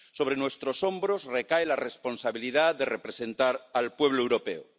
Sobre nuestros hombros recae la responsabilidad de representar al pueblo europeo.